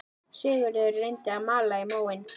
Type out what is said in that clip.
Sigurður reyndi að malda í móinn